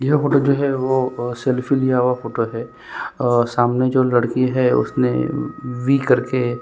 यह फोटो जो है वह सेल्फी लिया हुआ फोटो है और सामने जो लड़की है उसने वी करके --